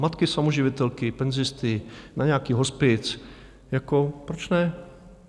Matky samoživitelky, penzisty, na nějaký hospic, jako proč ne?